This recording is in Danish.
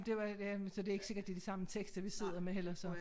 Det var jamen så det ikke sikkert det de samme tekster vi sidder med heller så